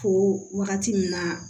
Ko wagati min na